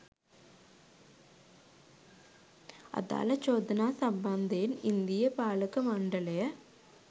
අදාළ චෝදනා සම්බන්ධයෙන් ඉන්දීය පාලක මණ්ඩලය